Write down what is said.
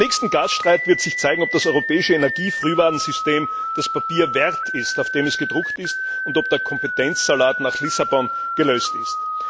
Beim nächsten Gasstreit wird sich zeigen, ob das europäische Energiefrühwarnsystem das Papier wert ist, auf dem es gedruckt ist, und ob der Kompetenzsalat nach Lissabon gelöst ist.